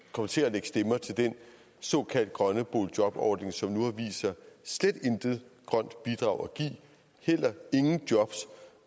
kom til at lægge stemmer til den såkaldt grønne boligjobordning som nu har vist sig slet intet grønt bidrag at give heller ingen jobs